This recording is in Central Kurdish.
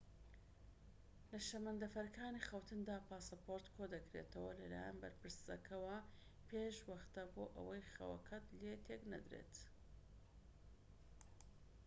لە شەمەندەفەرەکانی خەوتندا پاسپۆرت کۆ دەکرێتەوە لەلایەن بەرپرسەکەوە پێش وەختە بۆ ئەوەی خەوەکەت لێ تێك نەدرێت